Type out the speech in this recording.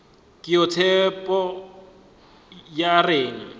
ke yona tshepo ya rena